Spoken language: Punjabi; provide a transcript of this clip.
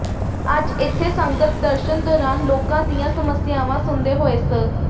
ਅੱਜ ਇੱਥੇ ਸੰਗਤ ਦਰਸ਼ਨ ਦੌਰਾਨ ਲੋਕਾਂ ਦੀਅ੍ਯਾਂ ਸਮੱਸਿਆਵਾਂ ਸੁਣਦੇ ਹੋਏ ਸ